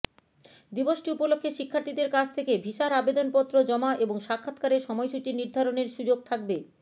দিবসটি উপলক্ষে শিক্ষার্থীদের কাছ থেকে ভিসার আবেদনপত্র জমা এবং সাক্ষাৎকারের সময়সূচি নির্ধারণের সুযোগ থাকবে